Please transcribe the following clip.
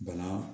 Bana